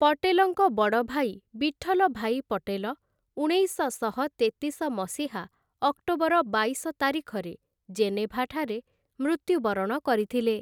ପଟେଲଙ୍କ ବଡ଼ ଭାଇ ବିଠଲ୍ଲ ଭାଇ ପଟେଲ ଉଣେଇଶଶହ ତେତିଶ ମସିହା ଅକ୍ଟୋବର ବାଇଶ ତାରିଖରେ ଜେନେଭାଠାରେ ମୃତ୍ୟୁବରଣ କରିଥିଲେ ।